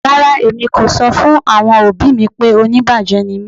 Rárá, èmi kò sọ̀ fún àwọn ọbì mí pé ọ̀níbájẹ̀ ní mí.